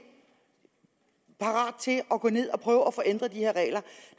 parat til at gå ned og på at få ændret de her regler